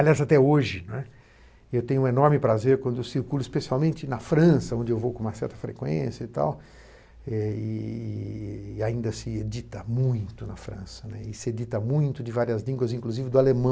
Aliás, até hoje, né, eu tenho um enorme prazer quando eu circulo, especialmente na França, onde eu vou com uma certa frequência e tal, eh e ainda se edita muito na França, e se edita muito de várias línguas, inclusive do alemão.